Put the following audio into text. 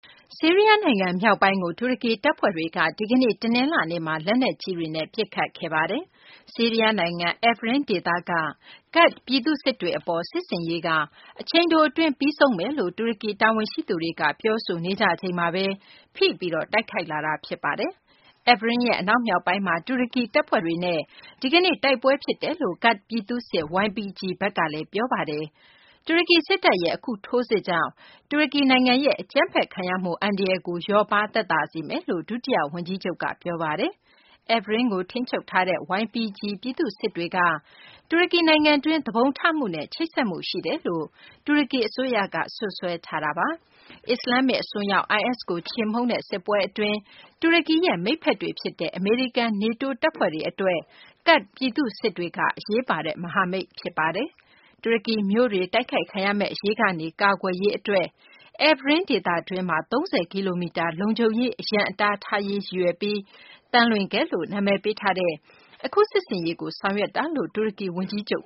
ဆီးရီးယား နိုင်ငံ မြောက်ပိုင်းကို တူရကီ တပ်ဖွဲ့တွေက ဒီကနေ့ တနလာၤနေ့မှာ လက်နက်ကြီးတွေနဲ့ ပစ်ခတ်ခဲ့ပါတယ်။ ဆီးရီးယား နိုင်ငံ Afrin ဒေသက ကာဒ့် ပြည်သူ့စစ်တွေ အပေါ် စစ်ဆင်ရေးက အချိန်တို အတွင်း ပြီးဆုံးသွားမယ်လို့ တူရကီ တာဝန်ရှိသူတွေက ပြောဆိုနေကြချိန်မှာဘဲ ဖိပြီး တိုက်ခိုက်လာတာ ဖြစ်ပါတယ်။ Afrin ရဲ့ အနောက်မြောက်ပိုင်းမှာ တူရကီ တပ်ဖွဲ့တွေနဲ့ ဒီကနေ့ တိုက်ပွဲ ဖြစ်တယ်လို့ ကာဒ့် ပြည်သူ့စစ် YPG ဘက်ကလည်း ပြောဆိုထားတာပါ။ တူရကီ စစ်တပ်ရဲ့ အခု ထိုးစစ်ကြောင့် တူရကီ နိုင်ငံရဲ့ အကြမ်းဖက်ခံရမှု အန္တရာယ်ကို လျော့ပါးသက်သာစေမယ်လို့ ဒုတိယ ဝန်ကြီးချုပ် Mehmet Simsek က ပြောဆိုပါတယ်။ Afrin ကို ထိန်းချုပ်ထားတဲ့ YPG ပြည်သူ့စစ်တွေက တူရကီ နိုင်ငံတွင်း သူပုန်ထမှုနဲ့ ချိတ်ဆက်မှု ရှိနေတယ်လို့ တူရကီ အစိုးရက စွပ်စွဲထားတာပါ။ အစ္စလာမ္မစ် အစွန်းရောက် IS ကို ချေမှုန်းတဲ့ စစ်ပွဲ အတွင်း တူရကီရဲ့ မိတ်ဘက်တွေ ဖြစ်တဲ့ အမေရိကန်၊ နေတိုး တပ်ဖွဲ့တွေ အတွက် ကာဒ့် ပြည်သူ့စစ်တွေက အရေးပါတဲ့ မဟာမိတ် ဖြစ်ပါတယ်။ တူရကီ မြို့တွေ တိုက်ခိုက်ခံရမယ့် အရေးကနေ ကာကွယ်ရေး အတွက် Afrin ဒေသတွင်းမှာ ၃၀ ကီလိုမီတာ လုံခြုံရေး အရံအတား ထားရေး ရည်ရွယ်ပြီး သံလွင်ခက်လို့ နာမည်ပေးထားတဲ့ အခု စစ်ဆင်ရေးကို ဆောင်ရွက်တာလို့ တူရကီ ဝန်ကြီးချုပ်